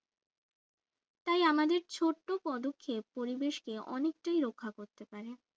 তাই আমাদের ছোট্ট পদক্ষেপ পরিবেশকে অনেকটাই রক্ষা করতে পারে